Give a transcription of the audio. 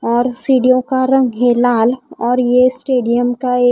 और सीढ़ियों का रंग है लाल और ये स्टेडियम का ए--